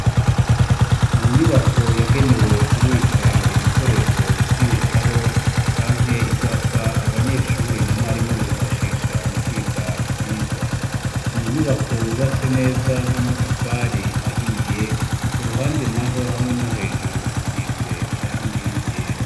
mu nyubako yagenewe kubika ibikoresho nk'ibitabo canke ivyapa abanyeshure na mwarimu bifashisha mu kwiga ivyigwa ni inyubako yubatse neza n'amatafari ahiye ku ruhande naho hamwe no hejuru hasize irangi ryera